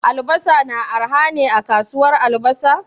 Albasa na arha ne a kasuwar albasa?